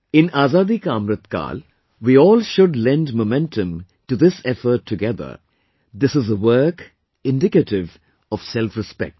In Azadi Ka Amrit Kaal, we all should lend momentum to this effort together; this is a work indicative of selfrespect